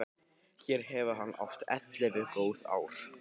Hér hefur hann átt ellefu góð ár.